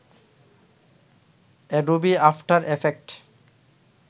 Adobe after effect